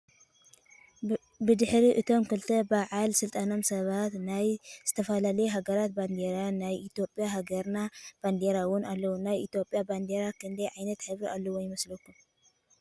ብድሕሪ እቶም ክልተ ባዓል ስልጣናት ሰባት ናይ ዝተፈላለዩ ሃገራት ባንዴራን ናይ ኢትዮጵያ ሃገርና ባንዴራን እውን ኣሎ። ናይ ኢትዮጵያ ባንዴራ ክንደይ ዓይነት ሕብሪ ኣለዋ ይመስለኩም?